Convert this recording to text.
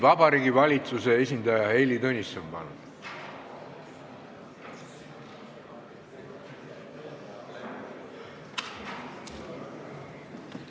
Vabariigi Valitsuse esindaja Heili Tõnisson, palun!